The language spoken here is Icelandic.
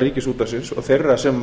ríkisútvarpsins og þeirra sem